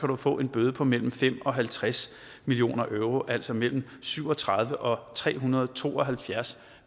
kan få en bøde på mellem fem euro og halvtreds million euro altså mellem syv og tredive kroner og tre hundrede og to og halvfjerds